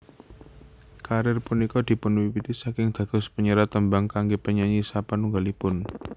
Karir punika dipunwiwiti saking dados panyerat tembang kangge penyanyi sapanunggalipun